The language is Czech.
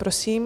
Prosím.